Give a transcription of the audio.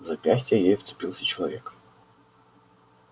в запястье ей вцепился человек